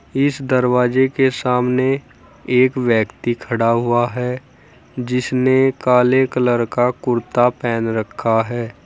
इस दरवाजे के सामने एक व्यक्ति खड़ा हुआ है जिसने काले कलर का कुर्ता पहन रखा है।